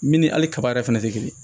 Min ni hali kaba yɛrɛ fɛnɛ tɛ kelen ye